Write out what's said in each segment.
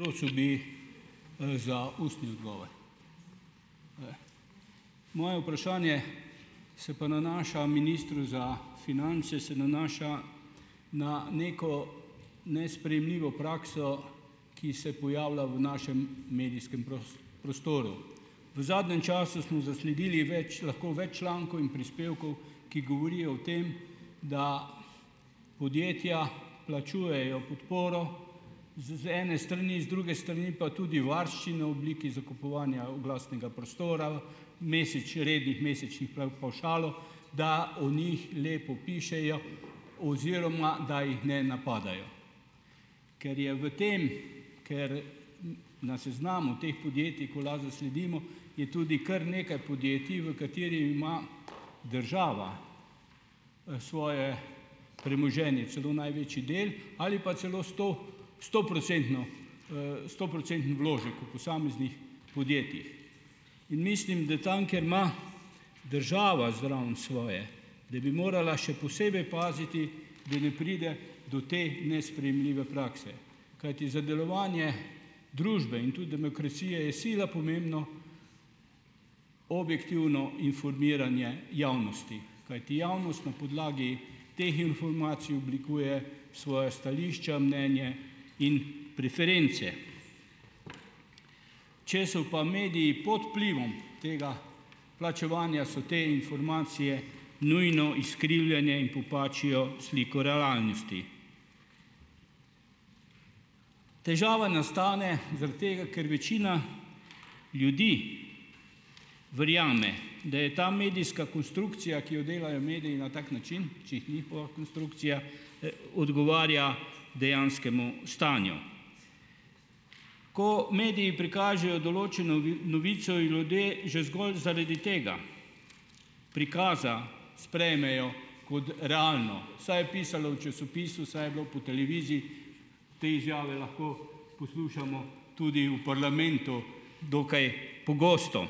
Prosil bi, za ustni odgovor. moje vprašanje se pa nanaša ministru za finance, se nanaša na neko nesprejemljivo prakso, ki se pojavlja v našem medijskem prostoru. V zadnjem času smo zasledili več, lahko več člankov in prispevkov, ki govorijo o tem, da podjetja plačujejo podporo z ene strani, z druge strani pa tudi varščino v obliki zakupovanja oglasnega prostora, rednih mesečnih, pavšalov, da o njih lepo pišejo oziroma da jih ne napadajo. Ker je v tem, ker na seznamu teh podjetij, ko lahko zasledimo, je tudi kar nekaj podjetij, v kateri ima država, svoje premoženje . Celo največji del ali pa celo sto, stoprocentno, stoprocenten vložek posameznih podjetjih . In mislim, da tam, ker ima država zraven svoje, da bi morala še posebej paziti, da ne pride do te nesprejemljive prakse. Kajti za delovanje družbe in tudi demokracije je sila pomembno objektivno informiranje javnosti, kajti javnost na podlagi teh informacij oblikuje svoja stališča, mnenje in preference. Če so pa mediji pod vplivom tega plačevanja, so te informacije nujno izkrivljenje in popačijo sliko relalnosti. Težava nastane zaradi tega, ker večina ljudi verjame , da je ta medijska konstrukcija, ki jo delajo mediji na tak način, če jih bo konstrukcija, odgovarja dejanskemu stanju. Ko mediji prikažejo določeno novico in ljudje že zgolj zaradi tega prikaza sprejmejo kot realno, saj je pisalo v časopisu, saj je bilo po televiziji, te izjave lahko poslušamo tudi v parlamentu dokaj pogosto.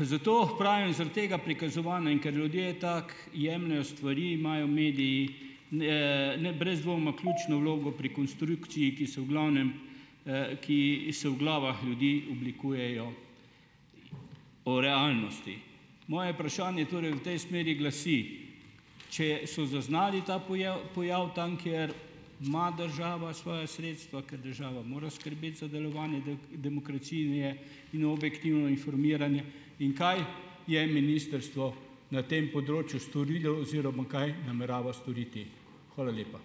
zato pravim zaradi tega prikazovanja, in ker ljudje tako jemljejo stvari, imajo mediji ne, brez dvoma ključno vlogo pri konstrukciji, ki so v glavnem, ki se v glavah ljudi oblikujejo o realnosti. Moje vprašanje torej v tej smeri glasi: "Če so zaznali ta pojav tam, ker ima država svoja sredstva, ker država mora skrbeti za delovanje demokracije in objektivno informiranje, in kaj je ministrstvo na tem področju storilo oziroma kaj namerava storiti?" Hvala lepa.